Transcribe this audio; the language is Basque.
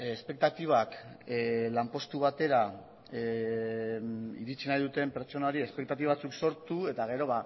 espektatibak lanpostu batera iritsi nahi duten pertsonei espektatiba batzuk sortu eta gero